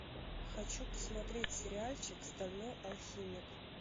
хочу посмотреть сериальчик стальной алхимик